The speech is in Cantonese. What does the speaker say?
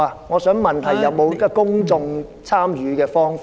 我是問有否公眾參與的方法？